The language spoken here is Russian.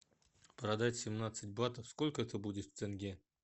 продать семнадцать батов сколько это будет в тенге